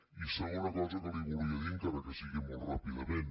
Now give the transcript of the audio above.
i segona cosa que li volia dir encara que sigui molt ràpidament